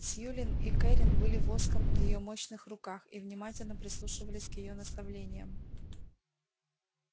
сьюлин и кэррин были воском в её мощных руках и внимательно прислушивались к её наставлениям